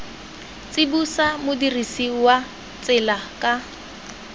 tsibosa modirisi wa tsela ka